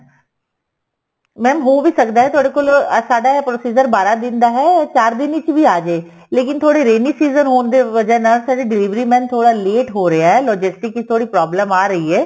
mam ਹੋ ਵੀ ਸਕਦਾ ਤੁਹਾਡੇ ਕੋਲ ਸਾਡਾ ਇਹ procedure ਬਾਰਾਂ ਦਿਨ ਦਾ ਹੈ ਚਾਰ ਦਿਨ ਵਿੱਚ ਵੀ ਆਜੇਗਾ ਲੇਕਿਨ ਥੋੜੀ rainy season ਹੋਣ ਦੀ ਵਜਾ ਨਾਲ ਸਾਡਾ delivery man ਲੇਟ ਹੋ ਰਿਹਾ logistic ਵਿੱਚ ਥੋੜੀ problem ਆ ਰਹੀ ਹੈ